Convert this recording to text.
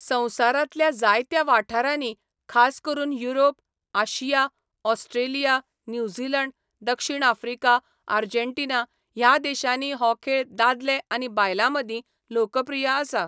संवसारांतल्या जायत्या वाठारांनी, खास करून युरोप, आशिया, ऑस्ट्रेलिया, न्यूझीलंड, दक्षिण आफ्रिका, आर्जेन्टिना ह्या देशांनी हो खेळ दादले आनी बायलांमदीं लोकप्रिय आसा.